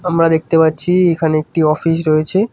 আমরা দেখতে পাচ্ছি এখানে একটি অফিস রয়েছে।